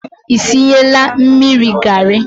Ị sinyela mmiri garị?